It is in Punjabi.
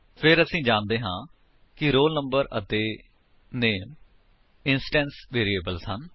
ਫਿਰ ਅਸੀ ਜਾਣਦੇ ਹਾਂ ਕਿ roll number ਅਤੇ ਨਾਮੇ ਇੰਸਟੈਂਸ ਵੇਰਿਏਬਲਸ ਹਨ